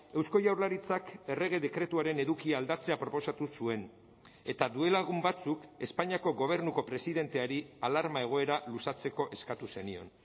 eusko jaurlaritzak errege dekretuaren edukia aldatzea proposatu zuen eta duela egun batzuk espainiako gobernuko presidenteari alarma egoera luzatzeko eskatu zenion